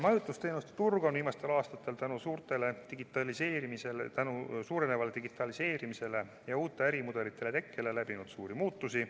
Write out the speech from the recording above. Majutusteenuste turg on viimastel aastatel tänu suurenevale digitaliseerimisele ja uute ärimudelite tekkele läbi teinud suuri muutusi.